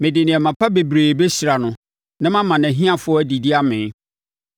mede nneɛma pa bebree bɛhyira no na mama nʼahiafoɔ adidi amee.